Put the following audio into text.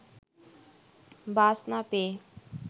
বাস না পেয়ে